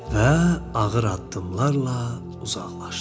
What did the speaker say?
Və ağır addımlarla uzaqlaşdı.